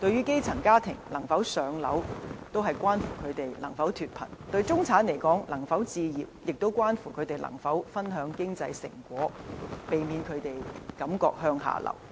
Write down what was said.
基層家庭能否"上樓"，關乎他們能否脫貧；對中產而言，能否置業，也關乎他們能否分享經濟成果，避免他們感覺向下流。